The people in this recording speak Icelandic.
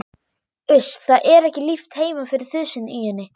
Uss, það er ekki líft heima fyrir þusinu í henni.